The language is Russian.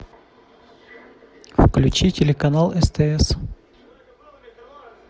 включи телеканал стс